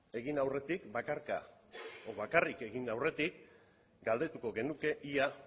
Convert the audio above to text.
egin aurretik bakarka edo bakarrik egin aurretik galdetuko genuke ea